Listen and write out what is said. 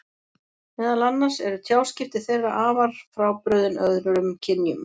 Meðal annars eru tjáskipti þeirra þeirra afar frábrugðin öðrum kynjum.